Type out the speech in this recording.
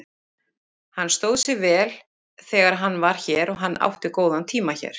Hann stóð sig vel þegar hann var hér og hann átti góðan tíma hér.